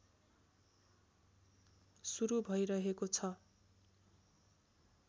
सुरु भइरहेको छ